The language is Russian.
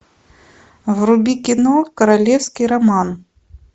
вруби кино королевский роман